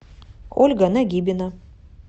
ольга нагибина